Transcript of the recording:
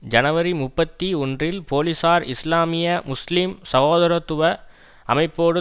ஜனவரி முப்பத்தி ஒன்றில் போலீஸார் இஸ்லாமிய முஸ்லீம் சகோதரத்துவ அமைப்போடு